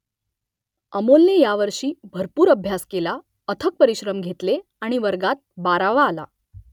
अमोलने यावर्षी भरपूर अभ्यास केला , अथक परिश्रम घेतले आणि वर्गात बारावा आला